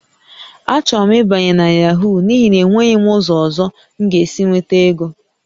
Achọrọ m ịbanye na Yahoo n'ihi na enweghị m ụzọ ọzọ m ga-esi enweta ego